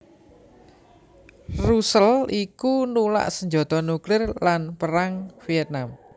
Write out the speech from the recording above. Russell iku nulak sanjata nuklir lan Perang Vietnam